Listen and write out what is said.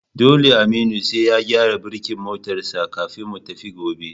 Dole Aminu sai ya gyara birkin motar sa kafin mu tafi gobe